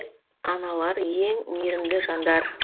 аналар ең мейірімді жандар